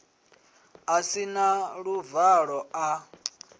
a si na luvalo a